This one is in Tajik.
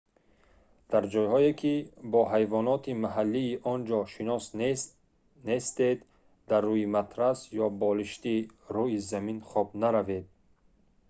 дар ҷойҳое ки бо ҳайвоноти маҳаллии он ҷо шинос нестед дар рӯи матрас ё болишти рӯи замин хоб наравед